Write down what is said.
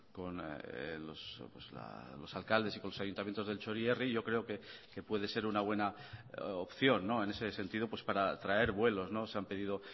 con los alcaldes y los ayuntamientos del txorierri yo creo que puede ser una buena opción en ese sentido para traer vuelos se han pedido